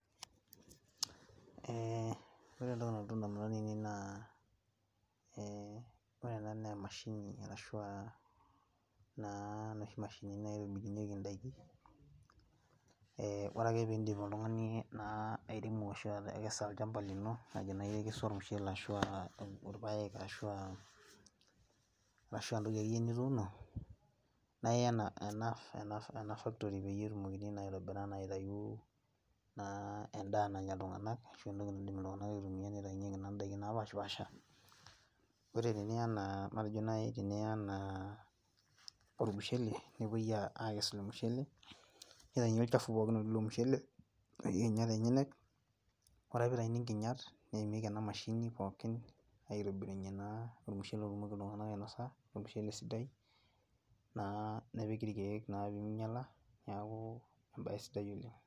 Eeh ore entoki nalotu indamunot ainei naa eeh orena neemashini arashuaa naa noshi mashinini naitobirunyeki indaiki eeh ore ake piindip oltung'ani naa airemo ashu atekesa olchamba lino matejo nai ikesu ormushele ashuaa ilpaek, arashuaa ntoki akeyie nituuno naaiyaena , ena ena  factory peyie etumokini naaitobira naaitayuu naa endaa nanya iltung'anak ashu entoki naidim iltung'ana aitumia neitainyeki naa ndaikin napashpaasha. Ore tiniya anaa, matejo nai tiniya anaa ormushele nepuoi aakes ilo mushele neitaini olchafu pookin lotii ilo mushele onkinyat enyenak, ore ake peitaini nkinyat neimieki ena mashini pookin aitobirunye naa ormushele otumoki iltung'anak ainosa, ormushele sidai naa nepiki ilkeek naa pemeinyala neakuu embaye sidai oleng'.